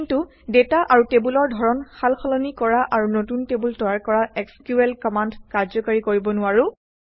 কিন্তু ডাটা আৰু টেবুলৰ ধৰণ সালসলনি কৰা আৰু নতুন টেবুল তৈয়াৰ কৰা এছক্যুএল কমাণ্ড কাৰ্যকৰী কৰিব নোৱাৰোঁ